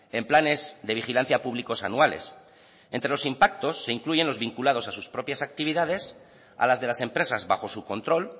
en planes de vigilancia públicos anuales entre los impactos se incluyen los vinculados a sus propias actividades a las de las empresas bajo su control